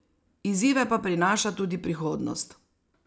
Izzive pa prinaša tudi prihodnost.